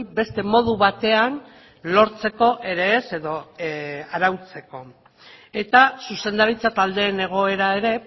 beste modu batean lortzeko ere ez edo arautzeko eta zuzendaritza taldeen egoera ere